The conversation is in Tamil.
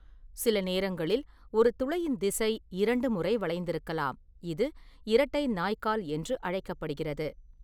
சில நேரங்களில், ஒரு துளையின் திசை இரண்டு முறை வளைந்திருக்கலாம்-இது 'இரட்டை நாய்கால்' என்று அழைக்கப்படுகிறது.